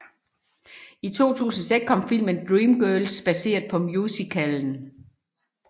I 2006 kom filmen Dreamgirls baseret på musicalen